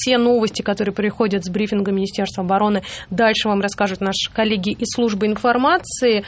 те новости которые приходят с брифингом министерства обороны дальше вам расскажут наши коллеги из службы информации